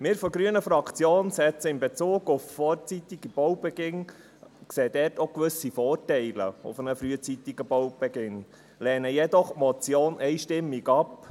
Bezüglich des vorzeitigen Baubeginns sehen wir von der grünen Fraktion auch gewisse Vorteile, lehnen die Motion jedoch einstimmig ab.